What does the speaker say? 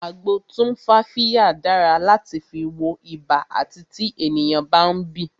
Agbo tumfafiya dára láti fi wọ ibà àti tí ènìyàn bá ń bì